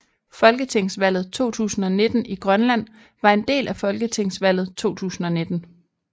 Folketingsvalget 2019 i Grønland var en del af folketingsvalget 2019